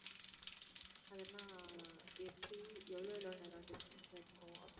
அதெல்லாம் அஹ் எப்படி எவ்ளோ எவ்ளோ நேரம் distance ல இருக்கும்?